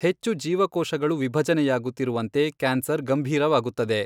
ಹೆಚ್ಚು ಜೀವಕೋಶಗಳು ವಿಭಜನೆಯಾಗುತ್ತಿರುವಂತೆ, ಕ್ಯಾನ್ಸರ್ ಗಂಭೀರವಾಗುತ್ತದೆ.